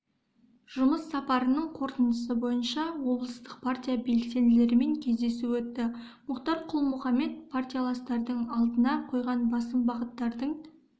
жұмыс сапарының қорытындысы бойынша облыстық партия белсенділерімен кездесу өтті мұхтар құл-мұхаммед партияластардың алдына қойған басым бағыттардың